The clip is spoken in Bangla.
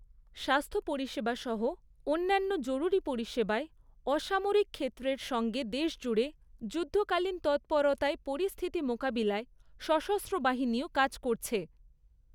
স্বাস্থ্য পরিষেবা সহ অন্যান্য জরুরি পরিষেবায় অসামরিক ক্ষেত্রের সঙ্গে দেশজুড়ে যুদ্ধকালীন তৎপরতায় পরিস্থিতি মোকাবিলায় সশস্ত্রবাহিনীও কাজ করছে।